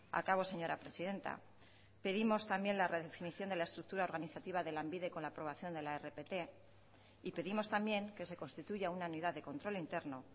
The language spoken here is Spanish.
acabo señora presidenta pedimos también la redefinición de la estructura organizativa de lanbide con la aprobación de la rpt y pedimos también que se constituya una unidad de control interno